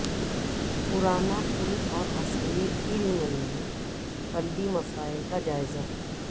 پرانا پل اورحسینی علم میں بلدی مسائل کا جائزہ